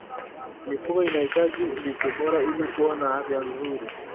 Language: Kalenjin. Mifugo inahitaji lishe bora ili kuwa na afya nzuri.